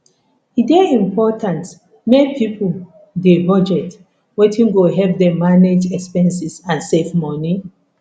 e dey important make pipo dey budget wetin go help dem manage expenses and save money